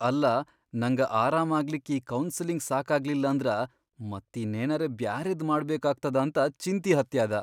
ಅಲ್ಲಾ ನಂಗ ಆರಾಮಾಗ್ಲಿಕ್ ಈ ಕೌನ್ಸಲಿಂಗ್ ಸಾಕಾಗ್ಲಿಲ್ಲಂದ್ರ ಮತ್ತೀನ್ನೇನರೆ ಬ್ಯಾರೆದ್ ಮಾಡ್ಬೇಕಾಗ್ತದಂತ ಚಿಂತಿ ಹತ್ಯಾದ.